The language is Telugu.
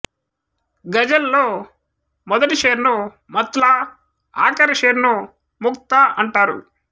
గజల్ లో మొదటి షేర్ ను మత్ లా ఆఖరి షేర్ ను మఖ్ తా అంటారు